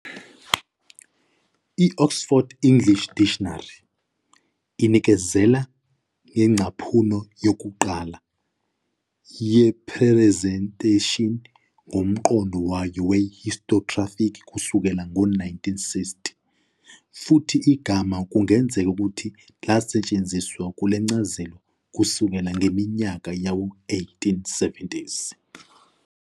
I- "Oxford English Dictionary" inikezela ngengcaphuno yokuqala "yephrezentheshini" ngomqondo wayo we-historiographic kusuka ngo-1916, futhi igama kungenzeka ukuthi lasetshenziswa kule ncazelo kusukela ngeminyaka yawo-1870s.